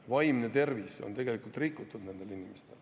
Nende inimeste vaimne tervis on rikutud.